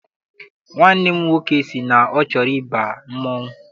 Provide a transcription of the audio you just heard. Nwanne m nwoke sị na ọ chọrọ ịba mmanwụ.